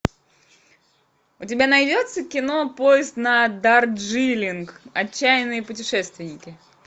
у тебя найдется кино поезд на дарджилинг отчаянные путешественники